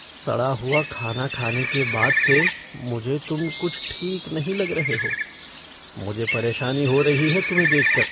सड़ा हुआ खाना खाने के बाद से मुझे तुम कुछ ठीक नहीं लग रहे हो। मुझे परेशानी हो रही है तुम्हें देख कर।